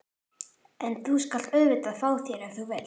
En þú skalt auðvitað fá þér ef þú vilt.